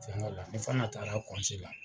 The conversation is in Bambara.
Fɛnkɛ la ,ni fana taara la.